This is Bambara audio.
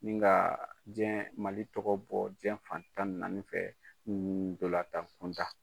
N ka diɲɛ ka mali tɔgɔ bɔ diɲɛ fan tan ni naani fɛ dɔla tan kunda